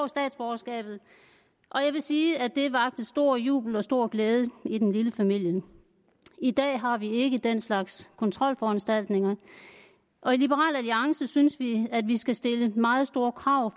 statsborgerskabet og jeg vil sige at det vakte stor jubel og stor glæde i den lille familie i dag har vi ikke den slags kontrolforanstaltninger og i liberal alliance synes vi at vi skal stille meget store krav